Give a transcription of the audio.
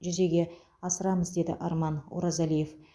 жүзеге асырамыз деді арман оразалиев